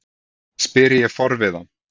spyr ég forviða.